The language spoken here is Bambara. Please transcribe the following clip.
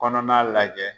Kɔnɔna lajɛ